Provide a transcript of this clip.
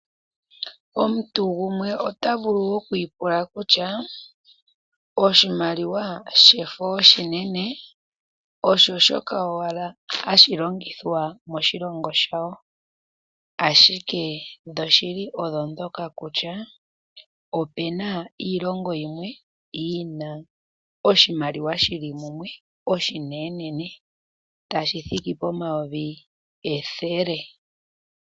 Omuntu gumwe ota vulu oku ipula kutya oshimaliwa shefo oshinene osho shoka owala hashi longithwa moshilongo shawo, ashike dhoshili odho ndhoka kutya opu na iilongo yimwe yi na oshimaliwa shi li mumwe oshinenenene tashi thiki pomayovi ethele.